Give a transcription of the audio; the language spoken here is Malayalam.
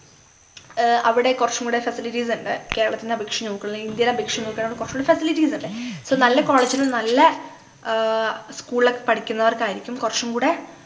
ഏർ അവിടെ കൊറച്ചും കൂടെ facilities ഉണ്ട് കേരളത്തിനെ അപേക്ഷിച്ചു നോക്കുയാണെങ്കില് ഇന്ത്യയെ അപേക്ഷിച്ചു നോക്കുയാണെ കൊറച്ചും കൂടി facilities ഉണ്ട് so നല്ല college ലു നല്ല ആഹ് school ലൊക്കെ പഠിക്കുന്നവർക്കായിരിക്കും കൊറച്ചും കൂടെ